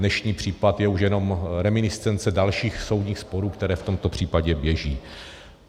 Dnešní případ je už jenom reminiscence dalších soudních sporů, které v tomto případě běží.